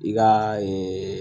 I ka